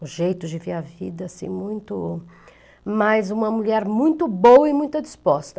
O jeito de ver a vida, assim, muito... Mas uma mulher muito boa e muito disposta.